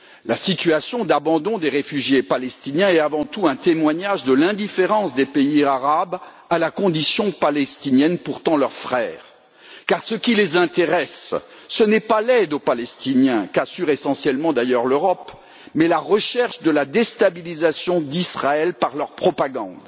La situation d'abandon des réfugiés palestiniens est, avant tout, un témoignage de l'indifférence des pays arabes à la condition des Palestiniens, qui sont pourtant leurs frères, car ce qui les intéresse, ce n'est pas l'aide aux Palestiniens qu'assure d'ailleurs essentiellement l'Europe mais la recherche de la déstabilisation d'Israël par leur propagande